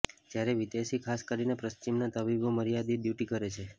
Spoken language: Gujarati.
જયારે વિદેશી ખાસ કરીને પશ્ર્ચિમના તબીબો મર્યાદીત ડયુટી કરે છે